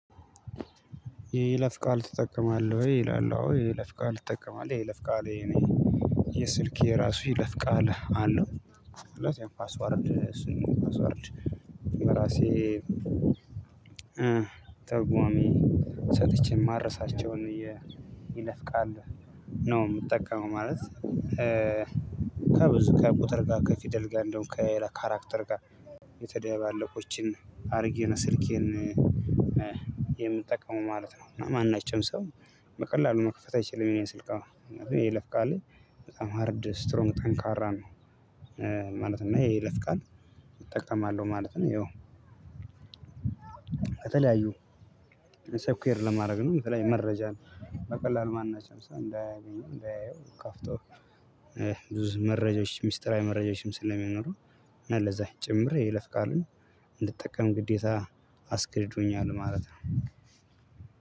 የይለፍ ቃል ትጠቀማለህ ይላል የይለ ፍቃል ትጠቀማለህ የይለፍ ቃል የኔ የስልኬ የራሱ ይለፍቃል አለው ለዚህም ፓስወርድ እሱን ፓስወርድ የራሴ ራሴ ትርጉም ሰጥቼ የማረሳቸውን የይለፍቃል ነው የምጠቀመው ማለት ነው። ከብዙ ከቁጥር ጋር ከፊደል ጋር እንዲሁም ከካራክተር ጋር የተደባለቁ አድርጌ ስልኬን የምጠቀመው ማለት ነው። ማናችንም ሰው በቀላሉ መክፈት አይችልም የኔን ስልክ አሁን የይለፍ ቃል በጣም ሃርድ ስትሮንግ ጠንካራ ነው። ማለት እና የይለፍቃል እጠቀማለሁ ማለት ነው። ይኸው ከተለያዩ ሰፊየር ለማድረግ ነው የምትለኝ መረጃ ነው። በቀላሉ ማን ናት? ለምሳሌ እንዳያገኙ እንዳያየው ከፍቶ ብዙ መረጃዎች ሚስጥራዊ መረጃዎችም ስለሚኖሩ እና ለዛ ጭምር የይለፍ ቃልን እንድትጠቀም ግዴታ አስገድዶኛል ማለት ነው።